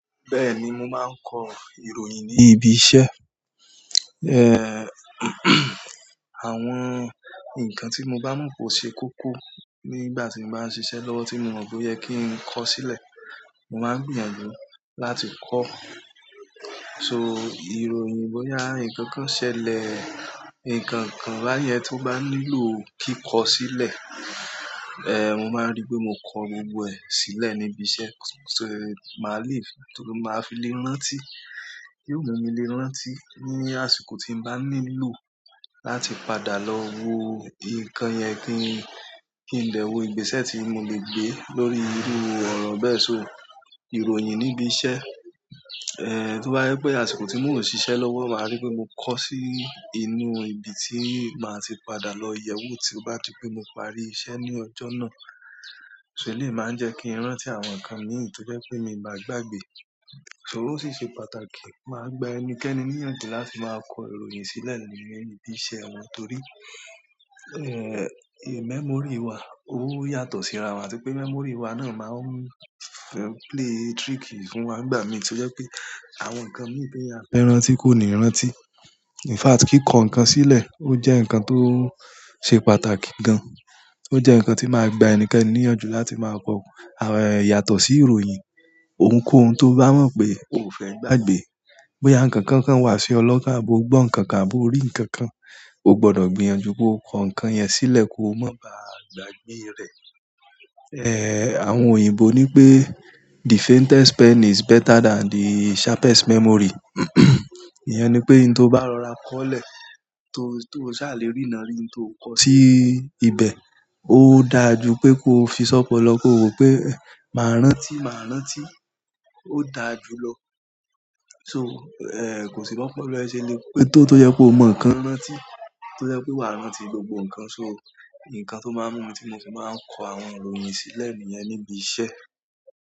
Bẹ́ẹ̀ni, mo máa ń kọ ìròyìn ní ibi iṣẹ́. Àwọn nǹkan tí mo bá mọ̀ pé ó ṣe kókó nígbà tí mo báa ń se iṣẹ́ lọwọ́ tí mo mọ̀ pé ó yẹ kí n kọ sílẹ̀, mo máa ń gbìyànjú láti kọ ọ́. So ìròyìn bóyá nǹkan kan ṣẹlẹ̀, nǹkan kàn báyẹn tó bá nílò kíkọ sílẹ̀, mo máa rí pé mo kọ gbogbo ẹ̀ sílẹ̀ níbi iṣẹ́. So màá le, torí mo máa fi le rántí. Kí òun mi le rántí ní àsìkò tí m bá nílò láti padà lọ wo nǹkan yẹn kí n lè wo ìgbésẹ̀ tí mo lè gbé lórí irú ọ̀rọ̀ bẹ́ẹ̀ so. Ìròyìn níbi iṣẹ́ tó bá jẹ́ pé àsìkò tí mò ń ṣiṣẹ́ lọ́wọ́ mo máa rí i pe mo kọ́ sí ibi tí màá ti padà lọ yẹ̀ ẹ́ wò t'óbá di pé mo parí iṣẹ́ ní ọjọ́ náà. So eléyìí máa ń jẹ́ kí n rántí àwọn nǹkan míì tí ó jẹ́ pé mi báa gbàgbé. Ṣòwò ṣíṣe pàtàkì máa gba ẹnikẹ́ni níyànjú láti máa kọ ìròyìn sílẹ̀ nínú ibi iṣẹ́ wọn torí memory wa ó yàtọ̀ síra wa. Àti pé memory wa náà máa ń play tricky fún wa nígbà mìíràn tí ó jẹ́ pé àwọn nǹkan míì t'èèyàn fẹ́ rántí kò ní rántí. In fact kíkọ nǹkan sílẹ̀ ó jẹ́ nǹkan tó ṣe pàtàkì gan. Ó jẹ́ nǹkan tí máa gba ẹnikẹ́ni níyànjú láti máa kọ. Àwọn ẹ̀ yàtọ̀ sí ìròyìn, ohunkóhun tó bá mọ̀ pé o ò fẹ́ gbàgbé. Bóyá nǹkankan kàn wàá sí ọ lọ́kàn àbó gbọ́ ǹkan kan àbó rí ǹkan kan, o gbọdọ̀ gbìyànjú kóo kọ ǹkan yẹn sílẹ̀ kó má ba à gbàgbé rẹ̀. Àwọn òyìnbó nipé the faintest pen is better than the sharpest memory. Ìyẹn ní pé ohun tó bá rọra kọ́lẹ̀, tó ṣàlérí náà rí ohun tó kọ sí ibẹ̀, ó dáa jù pé ko fi sọ̀pọ̀lọpọ̀ kóo wò ó pe máa rántí, máa rántí. Ó dáa jù lọ. Tóo, kò sí b'ọ́pọ́lọ́ ẹ ṣẹlẹ̀ pé tó tó jẹ́ pé o ma nǹkan rántí tó tó jẹ́ pé wàá rántí gbogbo nǹkan so, nǹkan tó máa ń mú mi tí mo fi máa ń kọ àwọn ìròyìn sílẹ̀ níbi iṣẹ́.